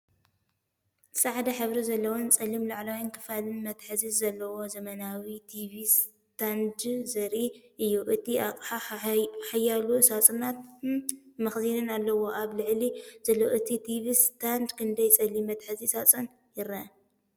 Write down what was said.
ጻዕዳ ሕብሪ ዘለዎን ጸሊም ላዕለዋይ ክፋልን መትሓዚን ዘለዎ ዘመናዊ ቲቪ ስታንድ ዘርኢ እዩ። እቲ ኣቕሓ ሓያሎ ሳጹናትን መኽዘንን ኣለዎ። ኣብ ላዕሊ ዘሎ ኣብ ቲቪ ስታንድ ክንደይ ጸሊም መትሓዚ ሳጹን ይርአ?